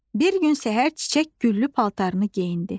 Bir gün səhər çiçək güllü paltarını geyindi.